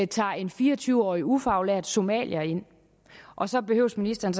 tager en fire og tyve årige ufaglært somalier ind og så behøver ministeren